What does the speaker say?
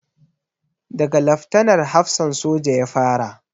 Da ga Laftanar hafsan soja ya fara